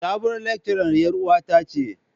Sabuwar lecturer yar uwata ce.